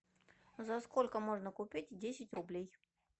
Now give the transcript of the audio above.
за сколько можно купить десять рублей